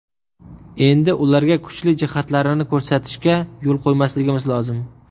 Endi ularga kuchli jihatlarini ko‘rsatishga yo‘l qo‘ymasligimiz lozim.